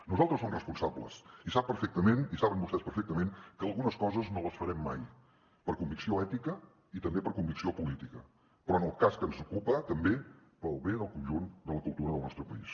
nosaltres som responsables i sap perfectament i saben vostès perfectament que algunes coses no les farem mai per convicció ètica i també per convicció política però en el cas que ens ocupa també pel bé del conjunt de la cultura del nostre país